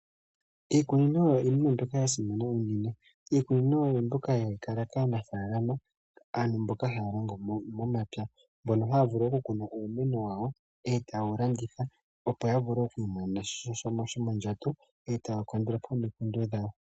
Iikunino oyo iinima yasimana uunene, iikunino oyombyoka hayikala kaanafalama, aantu mboka hayalongo momapya. Mbono hayavulu okukuna uumeno wayo, nde tawuyalanditha opo yavule okumwiimonena mo oshimaliwa shomondjato, e takandulapo omikundu dhawo.